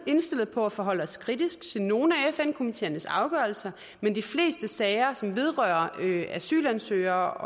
indstillet på at forholde os kritisk til nogle af fn komiteernes afgørelser men i de fleste sager som vedrører asylansøgere